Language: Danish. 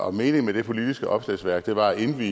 og meningen med det politiske opslagsværk var at indvie